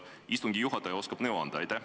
Kas istungi juhataja oskab nõu anda?